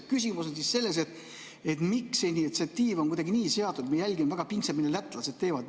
Küsimus on selles, miks see initsiatiiv on kuidagi nii seatud, et me jälgime väga pingsalt, mida lätlased teevad.